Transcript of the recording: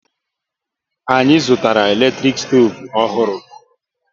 Anyị zụtara eletrik stoovu ọhụrụ